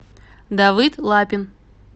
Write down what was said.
давыд лапин